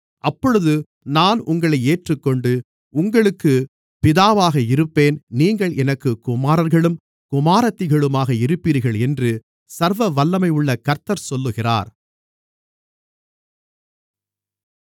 அப்பொழுது நான் உங்களை ஏற்றுக்கொண்டு உங்களுக்குப் பிதாவாக இருப்பேன் நீங்கள் எனக்குக் குமாரர்களும் குமாரத்திகளுமாக இருப்பீர்கள் என்று சர்வவல்லமையுள்ள கர்த்தர் சொல்லுகிறார்